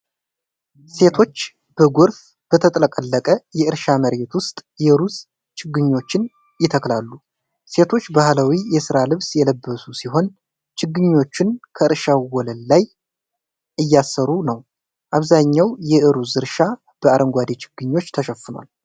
ሴቶች በጎርፍ በተጥለቀለቀ የእርሻ መሬት ውስጥ የሩዝ ችግኞችን ይተክላሉ። ሴቶቹ ባህላዊ የሥራ ልብስ የለበሱ ሲሆን፣ ችግኞችን ከእርሻው ወለል ላይ እያሰረጉ ነው። አብዛኛው የሩዝ እርሻ በአረንጓዴ ችግኞች ተሸፍኗል።